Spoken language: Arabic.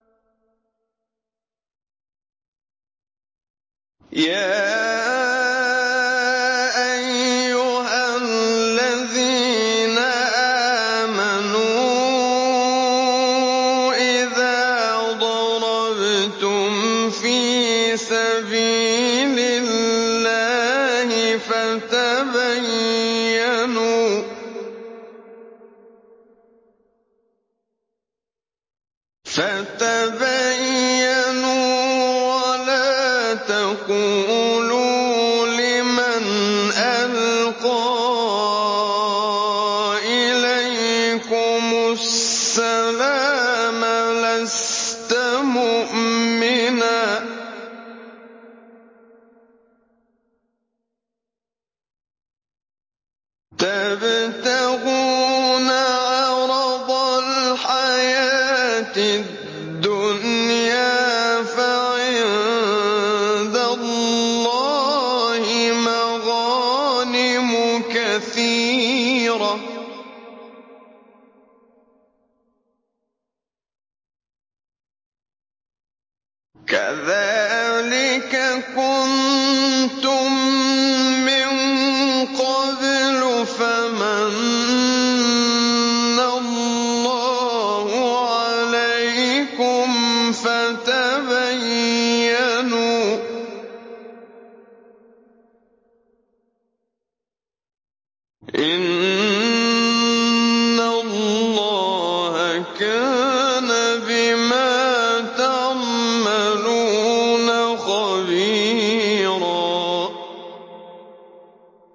يَا أَيُّهَا الَّذِينَ آمَنُوا إِذَا ضَرَبْتُمْ فِي سَبِيلِ اللَّهِ فَتَبَيَّنُوا وَلَا تَقُولُوا لِمَنْ أَلْقَىٰ إِلَيْكُمُ السَّلَامَ لَسْتَ مُؤْمِنًا تَبْتَغُونَ عَرَضَ الْحَيَاةِ الدُّنْيَا فَعِندَ اللَّهِ مَغَانِمُ كَثِيرَةٌ ۚ كَذَٰلِكَ كُنتُم مِّن قَبْلُ فَمَنَّ اللَّهُ عَلَيْكُمْ فَتَبَيَّنُوا ۚ إِنَّ اللَّهَ كَانَ بِمَا تَعْمَلُونَ خَبِيرًا